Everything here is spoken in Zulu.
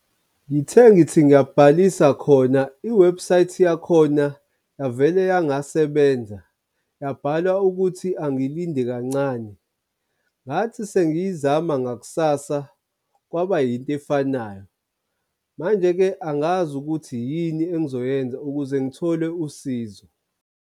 Ngithe ngithi ngiyabhalisa khona i-website yakhona yavele yangasebenza, yabhala ukuthi angilinde kancane. Ngathi sengiyizama ngakusasa kwaba yinto efanayo. Manje-ke angazi ukuthi yini engizoyenza ukuze ngithole usizo.